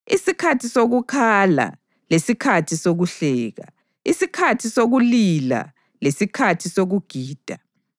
isikhathi sokukhala lesikhathi sokuhleka, isikhathi sokulila lesikhathi sokugida,